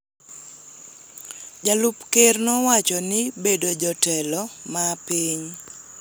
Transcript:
Jalup Ker nowacho ni bedo jotelo ma piny,